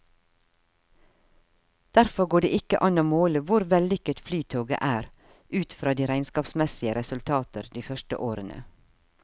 Derfor går det ikke an å måle hvor vellykket flytoget er ut fra de regnskapsmessige resultater de første årene.